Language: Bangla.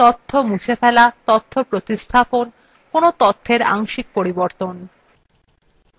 তথ্য মুছে ফেলা তথ্য প্রতিস্থাপন কোন তথ্যের আংশিক পরিবর্তন